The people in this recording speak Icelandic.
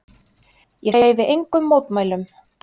Ég hreyfi engum mótmælum.